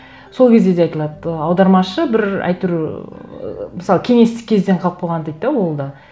сол кезде де айтылады аудармашы бір әйтеуір ыыы мысалы кеңестік кезден қалып қойған дейді де ол да